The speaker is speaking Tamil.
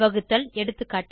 வகுத்தல் எகா